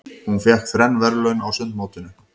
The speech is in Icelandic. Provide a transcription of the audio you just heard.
Hún fékk þrenn verðlaun á sundmótinu.